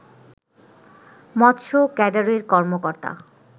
মৎস্য ক্যাডারের কর্মকর্তা